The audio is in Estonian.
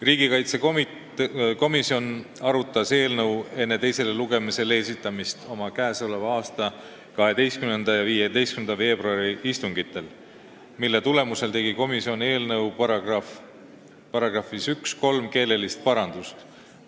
Riigikaitsekomisjon arutas eelnõu enne teisele lugemisele esitamist oma 12. ja 15. veebruari istungil, mille tulemusel tegi komisjon eelnõu §-s 1 kolm keelelist parandust.